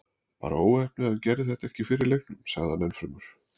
Bara óheppni að hann gerði þetta ekki fyrr í leiknum, sagði hann ennfremur.